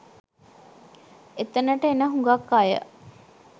එතනට එන හුඟක් අය